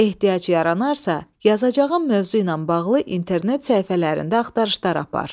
Ehtiyac yaranarsa, yazacağım mövzu ilə bağlı internet səhifələrində axtarışlar apar.